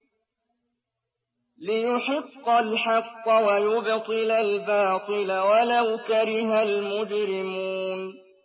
لِيُحِقَّ الْحَقَّ وَيُبْطِلَ الْبَاطِلَ وَلَوْ كَرِهَ الْمُجْرِمُونَ